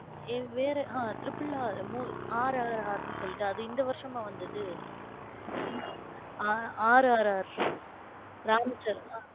ஏய்வேற ஹம் triple r mov r r r னு சொல்லிட்டு அது இந்த வருஷமா வந்தது? r r r ராம் சரண்.